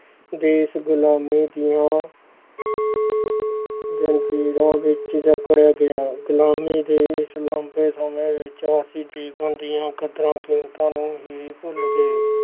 ਦੇਸ ਗੁਲ਼ਾਮੀ ਦੀਆਂ ਜ਼ੰਜ਼ੀਰਾਂ ਵਿੱਚ ਜਕੜਿਆ ਗਿਆ, ਗ਼ੁਲਾਮੀ ਦੇ ਇਸ ਲੰਬੇ ਸਮੇਂ ਵਿੱਚ ਅਸੀਂ ਜੀਵਨ ਦੀਆਂ ਕਦਰਾਂ ਕੀਮਤਾਂ ਨੂੰ ਹੀ ਭੁੱਲ ਗਏ।